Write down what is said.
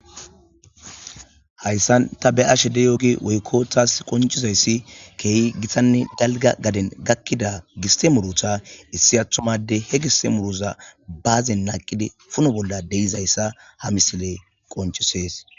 Hayssan ta be'ashede yoogi woykko taas qoncizayssi keehi gittanne galga gaden gakkida giste murutha issi aththumade he gisse muruza baazen naaqidi puno bolla deizayssa ha misile qoncisees.